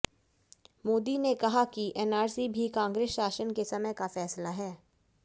मोदी ने कहा कि एनआरसी भी कांग्रेस शासन के समय का फैसला है